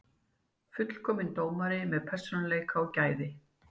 Fullkominn dómari með persónuleika og gæði.